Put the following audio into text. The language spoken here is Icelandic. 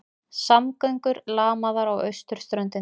Samgöngur lamaðar á austurströndinni